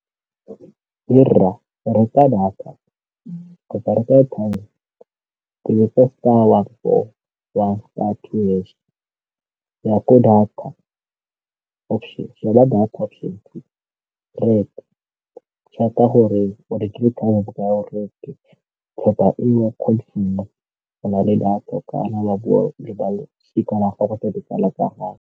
Hey rra, reka data kapa reka airtime, tobetsa star one four ya star two hash, e ya ko data option two, reka, chevk-a gore o rekile airtime ya bokae, kgotsa eo go na le data o ka na wa bua le ba losika la gago le ditsala tsa gago.